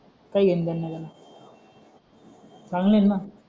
काय एन्जॉय मनाला चांगला आहे ना